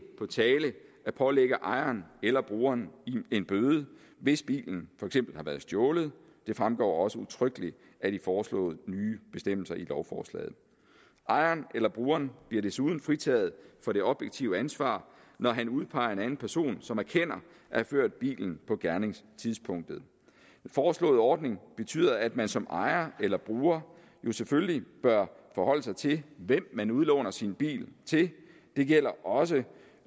på tale at pålægge ejeren eller brugeren en bøde hvis bilen for eksempel har været stjålet det fremgår også udtrykkeligt af de foreslåede nye bestemmelser i lovforslaget ejeren eller brugeren bliver desuden fritaget for det objektive ansvar når han udpeger en anden person som erkender have ført bilen på gerningstidspunktet den foreslåede ordning betyder at man som ejer eller bruger jo selvfølgelig bør forholde sig til hvem man udlåner sin bil til det gælder også